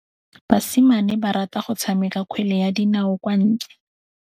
Basimane ba rata go tshameka kgwele ya dinaô kwa ntle.